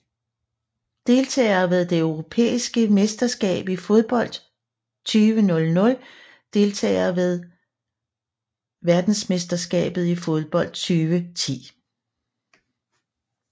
Deltagere ved det europæiske mesterskab i fodbold 2000 Deltagere ved verdensmesterskabet i fodbold 2010